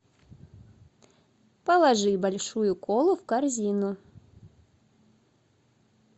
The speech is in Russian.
положи большую колу в корзину